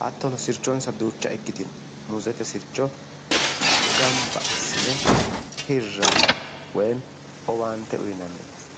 hattono sirchonsa duucha ikkitino muuzete sircho gamba assine hirranni woyi owaante uyinanni base.